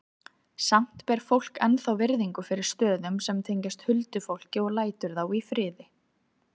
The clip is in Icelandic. Samt ber fólk ennþá virðingu fyrir stöðum sem tengjast huldufólki og lætur þá í friði.